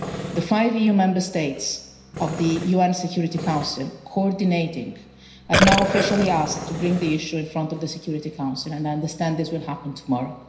The five EU Member States of the UN Security Council coordinating have now officially asked to bring the issue in front of the Security Council, and I understand that this will happen tomorrow.